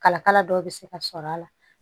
Kalakala dɔw bɛ se ka sɔrɔ a la